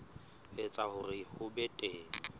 etsa hore ho be teng